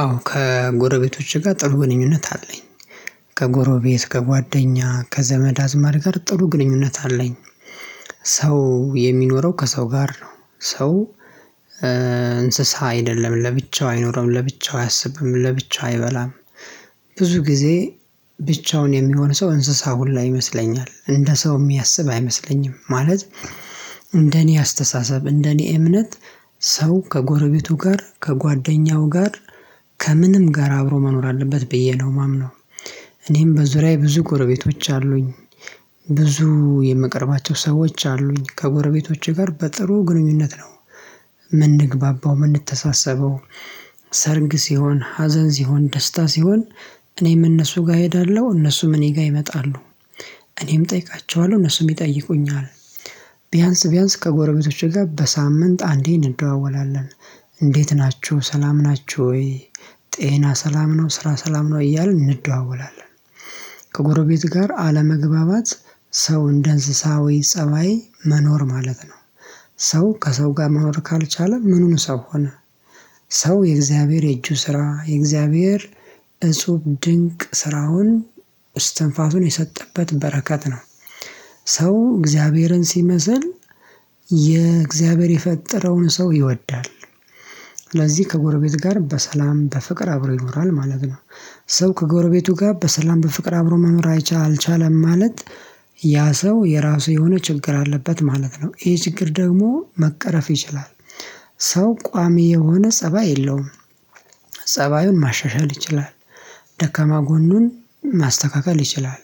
አዎ ከጎረቤቶቼ ጋር ጥሩ ግንኙነት አለኝ ከጎረቤት ከጓደኛ ከዘመድ አዝድ ጋር ጥሩ ግንኙነት አለኝ። ሰው የሚኖረው ከሰው ጋር ነው። ሰው እንስሳ አይደለም ለብቻው አይኖረውም ለብቻው አያስብም ለብቻው አይበላም። ብዙ ጊዜ ብቻውን የሚሆን ሰው እንስሳ ሁላ ይመስለኛል እንደ ሰው የሚያስብ አይመስለኝም። ማለት እንደኔ አስተሳሰብ እንደኔ እምነት ሰው ከጎረቤቱ ጋር ከጓደኛው ጋር ከምንም ጋር አብሮ መኖር አለበት ብዬ ነው ማምነው። እኔም በዙሪያዬ ብዙ ጎረቤቶች አሉኝ። ብዙ የምቀርባቸው ሰዎች አሉኝ ከጎረቤቶች ጋር በጥሩ ግንኙነት ነው። ምንግባባው የምንተሳሰበው ሰርግ ሲሆን ሀዘን ሲሆን ደስታ ሲሆን እኔም እነሱ ጋር እሄዳለሁ እነሱም እኔ ጋር ይመጣሉ። እኔም እጠይቃቸዋለሁ እነሱም ይጠይቁኛል። ቢያንስ ከጎረቤቶቼ ጋር በሳምንት አንዴ እንደዋወላለን። እንዴት ናችሁ ሰላም ናችሁ ወይ? ጤና ሰላም ነው ስራ ሰላም ነው እያልን እንደዋወላለን። ከጎረቤት ጋር አለመግባባት ሰው እንደ እንስሳዊ ፀባይ መኖር ማለት ነው። ሰው ከሰው ጋር መኖር ካልቻለ ምኑን ሰው ሆነ። ሰው የእግዚአብሔር የእጁ ስራ የእግዚአብሔር እጽብ ድንቅ ስራውን እስትንፋሱን የሰጠበት በረከት ነው። ሰው እግዚአብሔርን ሲመስል የእግዚአብሔር የፈጠረውን ሰው ይወዳል። ስለዚህ ከጎረቤት ጋር በሰላም በፍቅር አብሮ ይኖራል ማለት ነው። ሰው ከጎረቤቱ ጋር በሰላም በፍቅር አብሮ መኖር አልቻለም ማለት ያ ሰው የራሱ የሆነ ችግር አለበት ማለት ነው ይሄ ችግር ደግሞ መቀረፍ ይችላል። ሰው ቋሚ የሆነ ፀባይ የለውም። ፀባዩን ማሻሻል ይችላል። ደከማ ጎኑን ማስተካከል ይችላል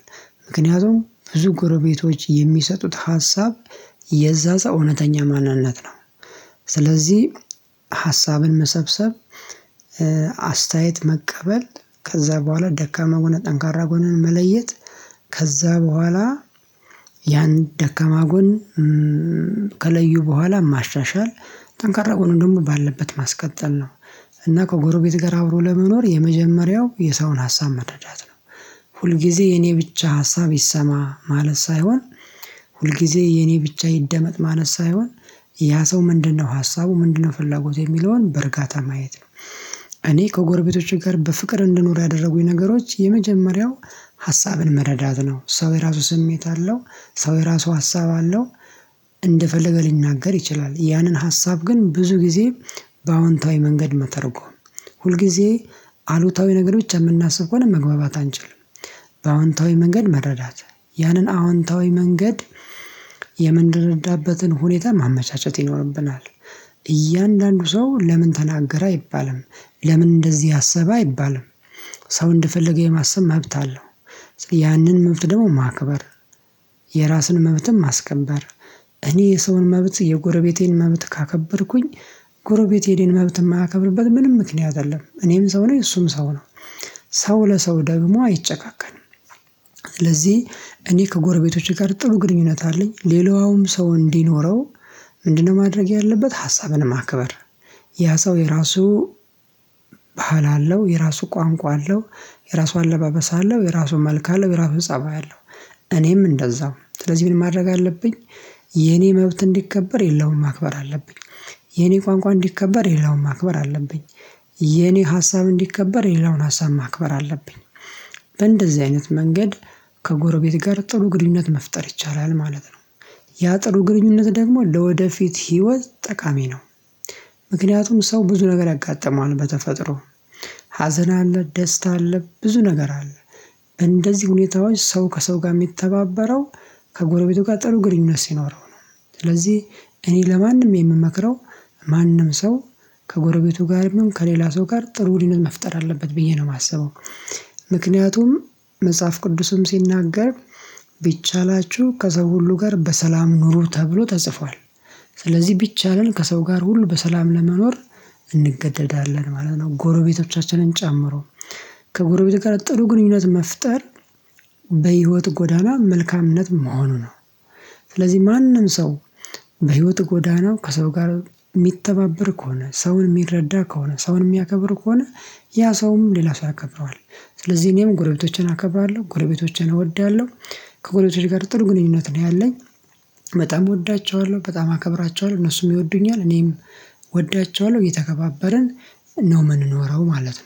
ምክንያቱም ብዙ ጎረቤቶች የሚሰጡት ሀሳብ የዛ ሰው እውነተኛ ማንነት ነው። ስለዚህ ሀሳብን መሰብሰብ አስተያየት መቀበል ከዛ በኋላ ደካማ ጎን ጠንካራ ጎንን መለየት። ከዛ በኋላ ያን ደከማ ጎን ከለዩ በኋላ ማሻሻል ጠንካራ ጎን ደግሞ ባለበት ማስቀጠል ነው። እና ከጎረቤት ጋር አብሮ ለመኖር የመጀመሪያው የሰውን ሀሳብ መረዳት ነው። ሁል ጊዜ የኔ ብቻ ሀሳብ ይሰማ ማለት ሳይሆን ሁል ጊዜ የኔ ብቻ ይደመጥ ማለት ሳይሆን ያ ሰው ምንድነው ሀሳቡ ምንድነው ፍላጎት የሚለውን በእርጋታ ማየት ነው። እኔ ከጎረቤቶቼ ጋር በፍቅር እንደኖሩ ያደረጉኝ ነገሮች የመጀመሪያው ሀሳብን መረዳት ነው ሰው የራሱ ስሜት አለው። ሰው የራሱ ሀሳብ አለው። እንደፈለገ ሊናገር ይችላል ያንን ሀሳብ ግን ብዙ ጊዜ በአዎንታዊ መንገድ መተርጎም ሁልጊዜ አሉታዊ ነገር ብቻ የምናስብ ከሆነ መግባባት አንችልም። በአዎንታዊ መንገድ መረዳት ያንን አዎንታዊ መንገድ የምንረዳበትን ሁኔታ ማመቻቸት ይኖርብናል። እያንዳንዱ ሰው ለምን ተናገረ አይባልም ለምን እንደዚህ አሰበ አይባልም። ሰው እንድፈልግ የማሰብ መብት አለው። ያንን መብት ደግሞ ማክበር የራስን መብትም ማስከበር እኔ የሰውን መብት የጎረቤቴን መብት ካከበርኩኝ። ጎረቤት ሄዴን መብት የማያከብርበት ምንም ምክንያት አይደለም እኔም ሰው ላይ እሱም ሰው ነው። ሰው ለሰው ደግሞ አይጨካከንም። ስለዚህ እኔ ከጎረቤቶቼ ጋር ጥሩ ግንኙነት አለኝ። ሌላውም ሰው እንዲኖረው ምንድነው ማድረግ ያለበት ሀሳብን ማክበር። ያ ሰው የራሱ ባህል አለው የራሱ ቋንቋ አለው። የራሱ አለባበስ አለው የራሱ መልክ አለው የራሱ ፀባይ አለው። እኔም እንደዛው ስለዚህ ምን ማድረግ አለብኝ? የኔ መብት እንዲከበር የሌላውን ማክበር አለብኝ። የኔ ቋንቋ እንዲከበር የሌላውን ማክበር አለብኝ። የኔ ሀሳብ እንዲከበር የሌላውን ሀሳብ ማክበር አለብኝ። በእንደዚህ አይነት መንገድ ከጎረቤት ጋር ጥሩ ግንኙት መፍጠር ይቻላል ማለት ነው። ያ ጥሩ ግንኙት ደግሞ ለወደፊት ህይወት ጠቃሚ ነው። ምክንያቱም ሰው ብዙ ነገር ያጋጥመዋል በተፈጥሮ ሀዘን አለ ደስታ አለ ብዙ ነገር አለ። እንደዚህ ሁኔታዎች ሰው ከሰው ጋር የሚተባበረው ከጎረቤቱ ጋር ጥሩ ግርኝነት ሲኖረው ነው። ስለዚህ እኔ ለማንም የምመክረው ማንም ሰው ከጎረቤቱ ጋር ከሌላ ሰው ጋር ጥሩ ግንኙነት መፍጠር አለበት ብዬ ነው ማስበው። ምክንያቱም መጽሐፍ ቅዱስም ሲናገር ቢቻላችሁ ከዛ ሁሉ ጋር በሰላም ኑሮ ተብሎ ተጽፏል። ስለዚህ ቢቻልን ከሰው ጋር ሁሉ በሰላም ለመኖር እንገደዳለን ማለት ነው። ጎረቤቶቻችንን ጨምሮ ከጎረቤት ጋር ጥሩ ግንኙነት መፍጠር በህይወት ጎዳና መልካምነት መሆኑ ነው። ስለዚህ ማንም ሰው በህይወት ጎዳናው ከሰው ጋር የሚተባበር ከሆነ ሰውን የሚረዳ ከሆነ ሰውን የሚያከብር ከሆነ ያ ሰውም ሌላ ሰው ያከብረዋል። ስለዚህ እኔም ጎረቤቶችን አከብራለሁ ጎለቤቶቼን እወዳለሁ። ከጎለቤቶቼ ጋር ጥሩ ግንኙነት ነው ያለኝ። በጣም እወዳቸዋለሁ በጣም አከብራቸዋለሁ እነሱም ይወዱኛል እኔም እወዳቸዋለሁ እየተከባበርን ነው የምንኖረው ማለት ነው